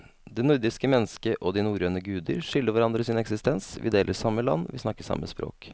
Det nordiske mennesket og de norrøne guder skylder hverandre sin eksistens, vi deler samme land, vi snakker samme språk.